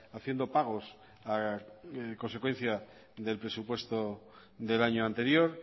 haciendo pagos a consecuencia del presupuesto del año anterior